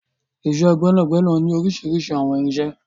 Iṣẹ́ gbẹ́nàgbẹnà ní oríṣiríṣi àwọn irinṣẹ́.